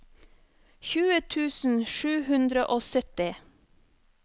tjue tusen sju hundre og syttini